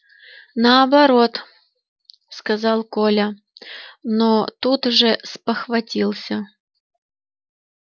наоборот сказал коля но тут же спохватился